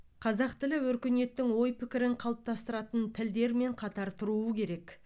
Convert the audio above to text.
қазақ тілі өркениеттің ой пікірін қалыптастыратын тілдермен қатар тұруы керек